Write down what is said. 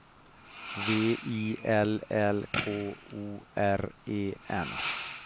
V I L L K O R E N